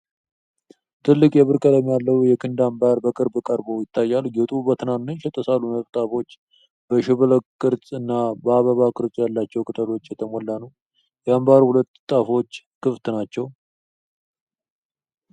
ትልቅ፣ የብር ቀለም ያለው የክንድ አምባር በቅርብ ቀርቦ ይታያል። ጌጡ በትናንሽ የተሳሉ ነጠብጣቦች፣ በሽብልቅ ቅርጽ እና በአበባ ቅርጽ ባላቸው ቅጦች የተሞላ ነው። የአምባሩ ሁለት ጫፎች ክፍት ናቸው።